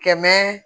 Kɛmɛ